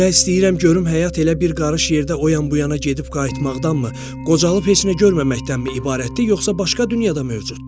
Bilmək istəyirəm görüm həyat elə bir qarış yerdə o yan-bu yana gedib qayıtmaqdanmı, qocalıb heç nə görməməkdənmi ibarətdir, yoxsa başqa dünya da mövcuddur?